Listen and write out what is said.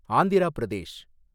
Andhra Pradesh